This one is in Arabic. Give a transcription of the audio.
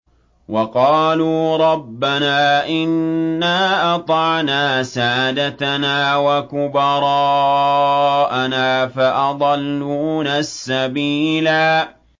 وَقَالُوا رَبَّنَا إِنَّا أَطَعْنَا سَادَتَنَا وَكُبَرَاءَنَا فَأَضَلُّونَا السَّبِيلَا